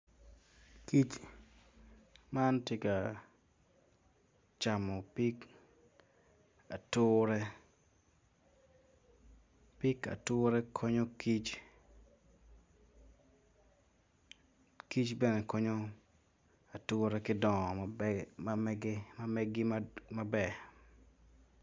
Kic man tye ka camo pig ature, pig ature konyo ature, kic bene konyo ature ki dongo ma meggi maber.